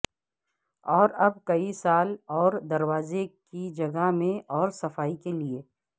اور اب کئی سال اور دروازے کی جگہ میں اور صفائی کے لئے